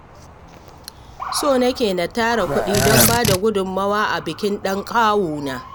So nake na tara kuɗi don ba da gudunmawa a bikin ɗan kawuna